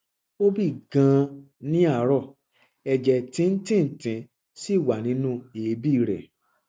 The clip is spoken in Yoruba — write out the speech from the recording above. ó bì ganan ní àárọ ẹjẹ tíntìntín sì wà nínú èébì rẹ